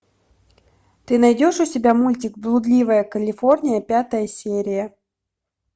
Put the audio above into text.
ты найдешь у себя мультик блудливая калифорния пятая серия